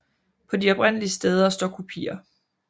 På de oprindelige steder står kopier